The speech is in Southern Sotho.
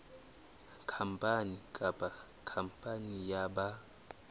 khampani kapa khampani ya ba